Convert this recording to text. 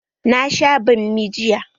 Na sha banmi jiya.